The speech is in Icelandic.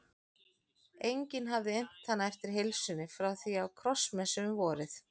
Enginn hafði innt hana eftir heilsunni frá því á krossmessu um vorið.